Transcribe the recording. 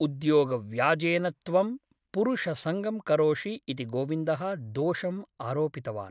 उद्योगव्याजेन त्वं पुरुषसङ्गं करोषि इति गोविन्दः दोषम् आरोपितवान् ।